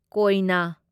ꯀꯣꯢꯅ